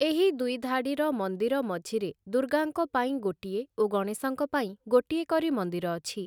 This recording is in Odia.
ଏହି ଦୁଇଧାଡ଼ିର ମନ୍ଦିର ମଝିରେ ଦୂର୍ଗାଙ୍କ ପାଇଁ ଗୋଟିଏ ଓ ଗଣେଶଙ୍କ ପାଇଁ ଗୋଟିଏ କରି ମନ୍ଦିର ଅଛି ।